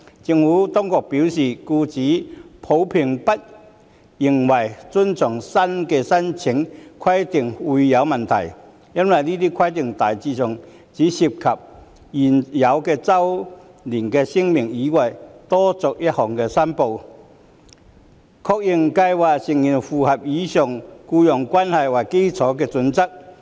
政府當局表示，僱主普遍並不認為遵從新的申報規定會有問題，因為這些規定大致上只涉及在現有的周年聲明以外多作一項申報，確認計劃成員符合以僱傭關係為基礎的準則。